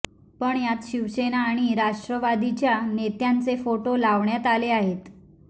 पण यात शिवसेना आणि राष्ट्रवादीच्या नेत्यांचे फोटो लावण्यात आले आहेत